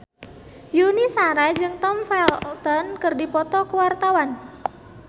Yuni Shara jeung Tom Felton keur dipoto ku wartawan